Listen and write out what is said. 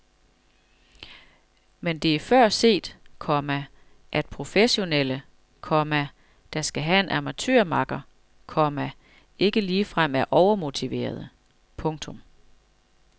Men det er før set, komma at professionelle, komma der skal have en amatørmakker, komma ikke ligefrem er overmotiverede. punktum